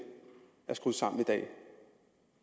at